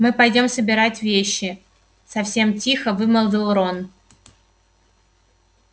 мы пойдём собирать вещи совсем тихо вымолвил рон